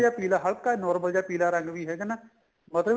ਜਾ ਪੀਲਾ ਹਲਕਾ ਜਾ normal ਜਾ ਪੀਲਾ ਰੰਗ ਵੀ ਹੈਗਾ ਨਾ ਮਤਲਬ